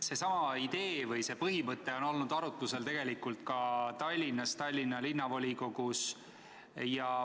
Seesama idee või see põhimõte on olnud arutlusel ka Tallinnas, Tallinna Linnavolikogus.